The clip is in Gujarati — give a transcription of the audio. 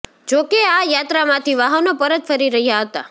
જોકે આ યાત્રામાંથી વાહનો પરત ફરી રહ્યા હતા